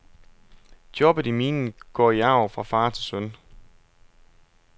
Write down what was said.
Jobbet i minen går i arv fra far til søn.